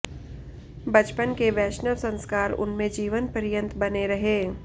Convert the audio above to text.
बचपन के वैष्णव संस्कार उनमें जीवनपर्यंत बने रहे